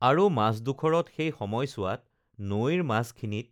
আৰু মাজডোখৰত সেই সময়চোৱাত নৈৰ মাজখিনিত